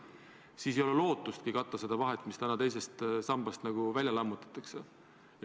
Nii ei ole lootustki katta seda vahet, mis tekib teise samba lammutamisega.